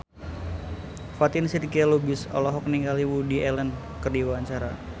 Fatin Shidqia Lubis olohok ningali Woody Allen keur diwawancara